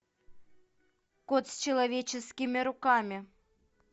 кот с человеческими руками